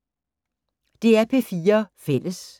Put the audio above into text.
DR P4 Fælles